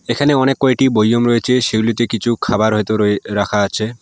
এখানে অনেক কয়টি বয়ম রয়েছে সেগুলিতে কিছু খাবার হয়তো রয়ে রাখা আছে।